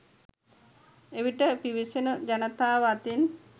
එවිට පිවිසෙන ජනතාව අතින්